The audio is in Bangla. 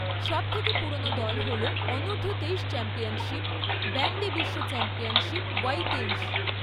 সব থেকে পুরনো দল হল অনূর্ধ্ব তেইশ চ্যাম্পিয়নশিপ, ব্যান্ডি বিশ্ব চ্যাম্পিয়নশিপ ওয়াই তেইশ।